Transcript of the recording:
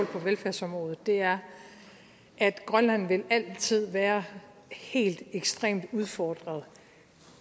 på velfærdsområdet er at grønland altid vil være helt ekstremt udfordret